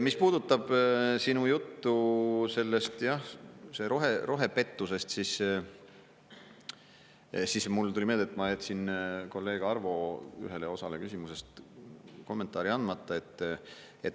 Mis puudutab sinu juttu sellest rohepettusest, siis mulle tuli meelde, et ma jätsin kolleeg Arvo ühele osale küsimusest kommentaari andmata.